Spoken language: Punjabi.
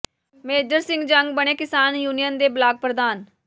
ਮੇਜਰ ਸਿੰਘ ਜੰਗ ਬਣੇ ਕਿਸਾਨ ਯੂਨੀਅਨ ਦੇ ਬਲਾਕ ਪ੍ਰਧਾਨ